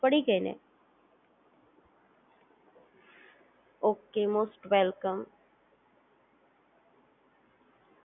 Most welcome